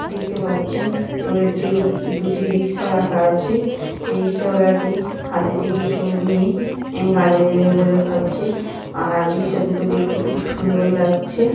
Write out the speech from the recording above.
দেখতে পাচ্ছেন রোদ্দুর দুটি রিকশা রাখা আছে রিকশা বালাটি হাতেতে কিছু নিয়ে গালে দেবে বলে ভাবছি আর রিকশা দুটো দেখতে খুব সুন্দর লাগছে।